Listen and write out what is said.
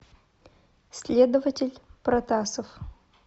следователь протасов